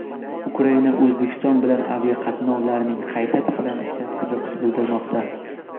Ukraina O‘zbekiston bilan aviaqatnovlarning qayta tiklanishiga qiziqish bildirmoqda .